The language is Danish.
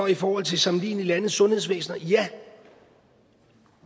i forhold til sammenlignelige landes sundhedsvæsener ja